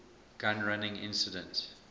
gun running incident